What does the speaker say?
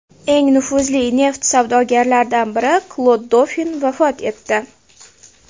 Eng nufuzli neft savdogarlaridan biri Klod Dofin vafot etdi.